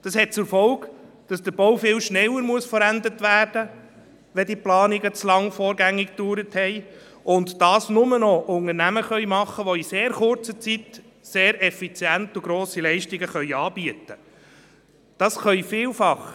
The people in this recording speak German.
Das hat zur Folge, dass der Bau viel schneller beendet werden muss, wenn die Planungen vorgängig zu lange gedauert haben, und dass dies nur noch Unternehmer machen können, die in sehr kurzer Zeit sehr effiziente und grosse Leistungen anbieten können.